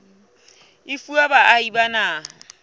e fuwa baahi ba naha